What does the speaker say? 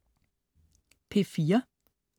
P4: